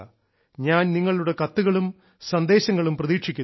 ഞാൻ നിങ്ങളുടെ കത്തുകളും സന്ദേശങ്ങളും പ്രതീക്ഷിക്കുന്നു